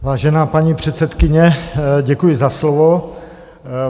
Vážená paní předsedkyně, děkuji za slovo.